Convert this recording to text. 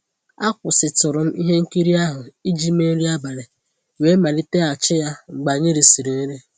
Akwụsịtụrụ m ihe nkiri ahụ iji mee nri abalị wee maliteghachi ya mgbe anyị risịrị nri.